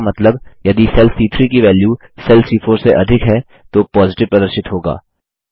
इसका मतलब यदि सेल सी3 की वैल्यू सेल सी4 से अधिक है तो पॉजिटिव प्रदर्शित होगा